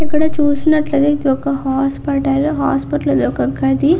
ఇక్కడ చూసినట్టయితే ఇదొక హాస్పిటల్ హాస్పిటల్ లో ఒక గది.